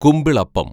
കുമ്പിളപ്പം